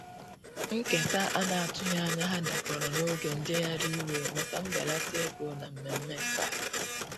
Nketa ana atughi anya ha dakọrọ n'oge njeghari iwe maka mbelata ego na mmeme nkà.